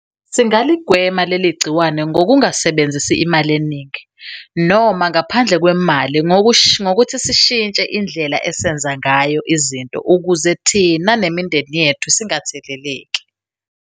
Singaligwema leli gciwane ngokungasebenzisi imali eningi noma ngaphandle kwemali ngokuthisishintshe indlela esenza ngayo izinto ukuze thina nemindeni yethu singatheleleki.